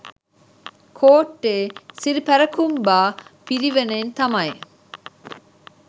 කෝට්ටේ සිරිපැරකුම්බා පිරිවෙණෙන් තමයි